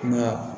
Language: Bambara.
Nka